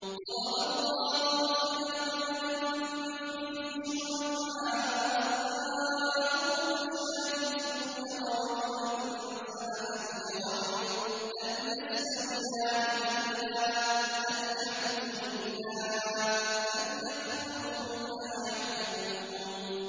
ضَرَبَ اللَّهُ مَثَلًا رَّجُلًا فِيهِ شُرَكَاءُ مُتَشَاكِسُونَ وَرَجُلًا سَلَمًا لِّرَجُلٍ هَلْ يَسْتَوِيَانِ مَثَلًا ۚ الْحَمْدُ لِلَّهِ ۚ بَلْ أَكْثَرُهُمْ لَا يَعْلَمُونَ